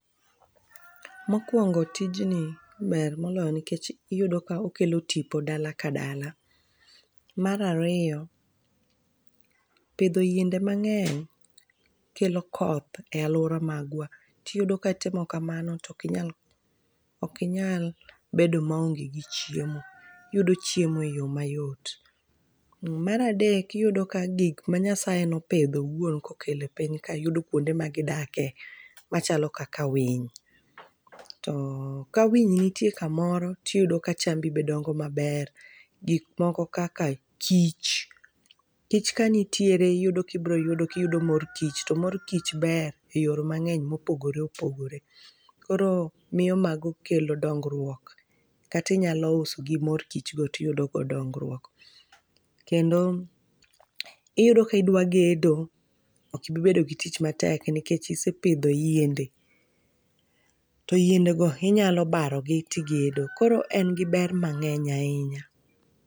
Mokwongo, tijni ber moloyo nikech iyudo ka okelo tipo dala ka dala. Mar ariyo, pidho yiende mang'eny kelo koth e alwora magwa. Tiyudo ka timo kamano, ok inyal bedo maonge gi chiemo. Iyudo chiemo e yo mayot. Mar adek, iyudo ka gik ma Nyasaye nopidho woun kokelo e piny ka yudo kwonde magidake, machalo kaka winy. To ka winy nitie kamoro tiyudo ka chambi be dongo maber. Gik moko kaka kich, kich kanitiere iyudo kibroyudo kiyudo mor kich. To mor kich ber e yore mang'eny mopogore opogore. Koro miyo mago kelo dongruok. Kata inyalo usogi, mor kichgo tiyudo go dongruok. Kendo, iyudo kidwa gedo, ok ibobedo gi tich matek nikech isepidho yiende, to yiendego inylo baro gi tigedo. Koro en gi ber mang'eny ahinya.